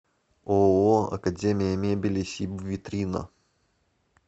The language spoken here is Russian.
ооо академия мебели сибвитрина